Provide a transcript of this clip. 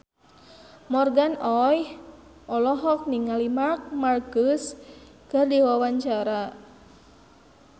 Morgan Oey olohok ningali Marc Marquez keur diwawancara